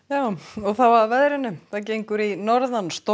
þá að veðri það gengur í norðan storm